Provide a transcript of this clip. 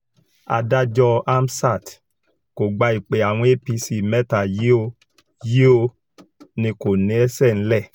adájọ́ hamsat kò gba ìpè àwọn apc mẹ́ta yìí ò yìí ò ní kó lẹ́sẹ̀ nílẹ̀